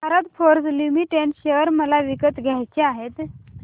Bharat Forge Limited share मला विकत घ्यायचे आहेत